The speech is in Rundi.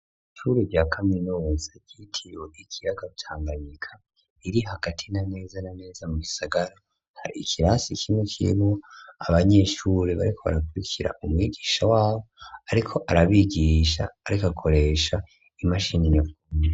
Ishure rya kaminuza ryitiriwe ikiyaga Tanganyika riri hagati neza na neza mu gisagara, hari ikirasi kimwe kihurikiyemwo abanyeshure bariko barakurikira umwigisha wabo ariko arabigisha ariko akoresha imashini nyabwonko.